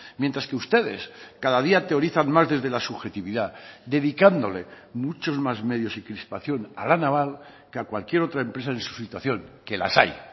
mientras que ustedes cada día teorizan más desde la subjetividad dedicándole muchos más medios y crispación a la naval que a cualquier otra empresa en su situación que las hay